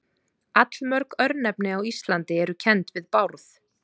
Allmörg örnefni á Íslandi eru kennd við Bárð.